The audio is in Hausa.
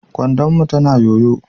kwandon mu tana yoyo.